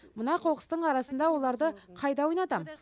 мына қоқыстың арасында оларды қайда ойнатам